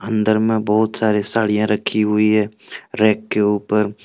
अंदर में बहुत सारे साड़ियां रखी हुई है रैक के उपर--